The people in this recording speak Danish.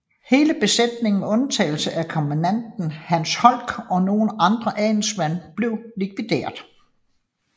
Hele besætningen med undtagelse af kommandanten Hans Holck og nogle andre adelsmænd blev likvideret